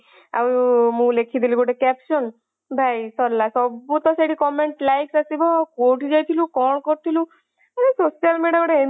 ମୁଁ ଲେଖିଦେଲି ଗୋଟେ caption ଭାଇ ସାରିଲା ସବୁତସେଠି comment, likes ଆସିବ କୌଠିକି ଯାଇଥିଲୁ କଣ କରୁଥିଲୁ ଆରେ social media ଗୋଟେ ଏମିତି